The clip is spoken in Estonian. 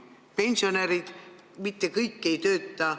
Mitte kõik pensionärid ei tööta.